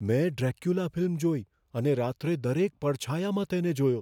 મેં ડ્રેક્યુલા ફિલ્મ જોઈ અને રાત્રે દરેક પડછાયામાં તેને જોયો.